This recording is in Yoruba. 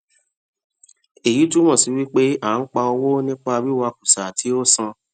èyí túmọ sí wípé a n pa owó nípa wí wà kùsà tí a ò san